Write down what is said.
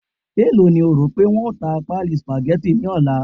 e lo ni o rope won ta pálí spaghetti ni ọlá